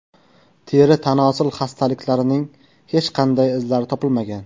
Teri-tanosil xastaliklarining hech qanday izlari topilmagan.